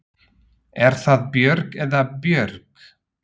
Er það Björg eða Björg?